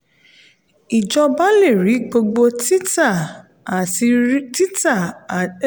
ijọba le rí gbogbo títà àti